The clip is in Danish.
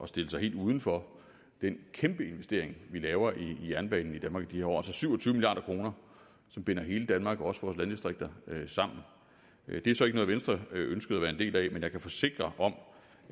stille sig helt uden for den kæmpe investering vi laver i jernbanen i de her år syv og tyve milliard kroner som binder hele danmark også vores landdistrikter sammen det er så ikke noget venstre ønskede at være en del af men jeg kan forsikre om